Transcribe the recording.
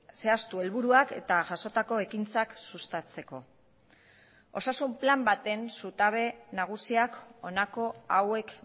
zehaztu helburuak eta jasotako ekintzak sustatzeko osasun plan baten zutabe nagusiak honako hauek